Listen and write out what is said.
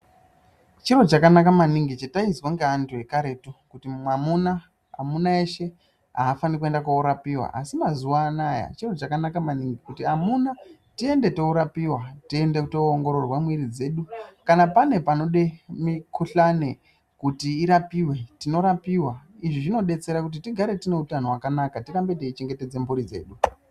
Chinhu chakanaka maningi chatainzwa nevantu vekaretu kuti mwauna wese haafaniri kuenda kunorapiwa asi mazuva ano aya chinhu chakanaka maningi kuti amuna tiende kunorapiwa tiende tinoongotorwa miiri dzedu kana pane panode mukuhlani kuti urapiwe tinorapiwa izvi zvinobetsera kuti tigare tineutano hwakanaka tirambe tichichengetedza mburi dzedu.